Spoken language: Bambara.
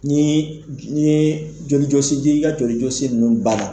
N'i ye n'i yee joli jɔsi n'i ka joli jɔsi ninnu banna